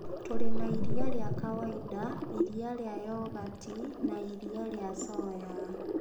Tũrĩ na iria rĩa kawaida, iria rĩa yogati, na iria rĩa coya.